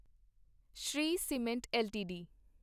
Shri cement LTD